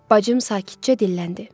Bacım sakitcə dilləndi.